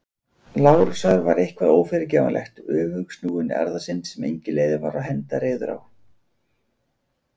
Lárusar var eitthvað ófyrirgefanlegt- öfugsnúin erfðasynd sem engin leið var að henda reiður á.